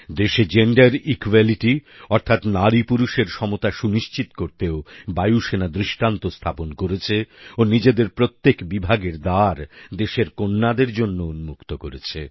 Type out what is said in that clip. দেশেGender equality অর্থাৎ নারীপুরুষের সমতা সুনিশ্চিত করতেও বায়ুসেনা দৃষ্টান্ত স্থাপন করেছে ও নিজেদের প্রত্যেক বিভাগের দ্বার দেশের কন্যাদের জন্য উন্মুক্ত করেছে